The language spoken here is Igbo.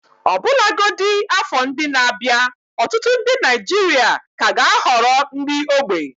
Ọbụlagodi afọ ndị na-abịa, ọtụtụ ndị Naijiria ka ga-ahọrọ nri ógbè.